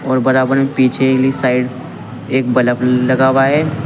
और बराबर में पीछे कि साइड एक बल्ब लगा हुआ है।